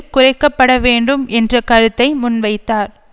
குறைக்க பட வேண்டும் என்ற கருத்தை முன்வைத்தார்